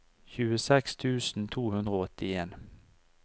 tjueseks tusen to hundre og åttien